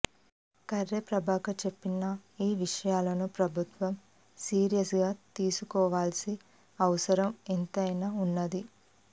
కర్నె ప్రభాకర్ చెప్పిన ఈ విషయాలను ప్రభుత్వం సీరియస్ గానే తీసుకోవలసి అవసరం ఎంతైనా ఉన్నదీ